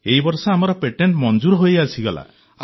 ଏଇ ବର୍ଷ ଆମର ପେଟେଂଟ୍ ମଞ୍ଜୁର ହୋଇ ଆସିଗଲା